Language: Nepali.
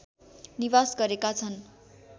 निवास गरेका छन्